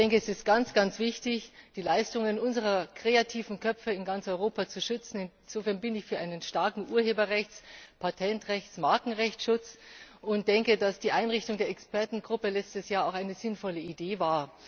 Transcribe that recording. Es ist ganz wichtig, die Leistungen unserer kreativen Köpfe in ganz Europa zu schützen. Insofern bin ich für einen starken Urheberrechts Patentrechts und Markenrechtsschutz und denke, dass die Einrichtung der Expertengruppe letztes Jahr eine sinnvolle Idee war.